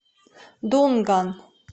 дунган